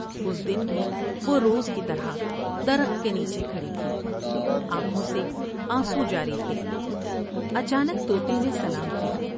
اس دن بھی وہ روز کی طرح درخت کے نیچے کھڑی تھی ، آنکھوں سے آنسو جاری تھے۔ اچا تک تو تے نے سلام کیا ۔